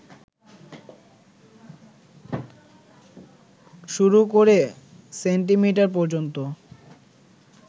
শুরু করে সেন্টিমিটার পর্যন্ত